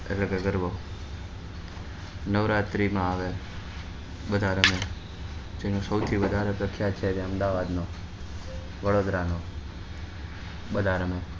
એટલે કે ગરબા નવારાત્રી માં આવે બધા રમે તેમાં સૌથી વધારે પ્રખ્યાત ત્યારે અમદાવાદ નુ વડોદરા નુ બધા રમે